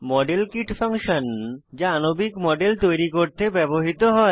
model kit function যা আণবিক model তৈরি করতে ব্যবহৃত হয়